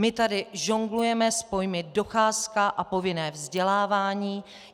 My tady žonglujeme s pojmy docházka a povinné vzdělávání.